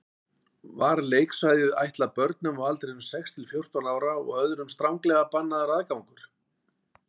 Var leiksvæðið ætlað börnum á aldrinum sex til fjórtán ára og öðrum stranglega bannaður aðgangur.